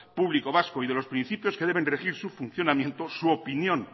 público vasco y de los principios que deben regir su funcionamiento su opinión